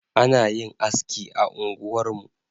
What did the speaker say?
Ana yin anski a unguwarmu